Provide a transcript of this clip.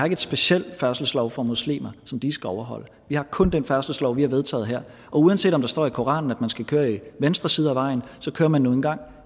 en speciel færdselslov for muslimer som de skal overholde vi har kun den færdselslov vi har vedtaget her og uanset om der står i koranen at man skal køre i venstre side af vejen kører man nu engang